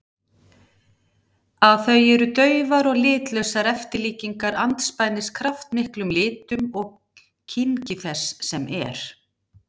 Að þau eru daufar og litlausar eftirlíkingar andspænis kraftmiklum litum og kynngi þess sem er.